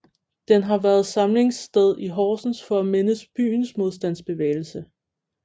Den har været samlingssted i Horsens for at mindes byens modstandsbevægelse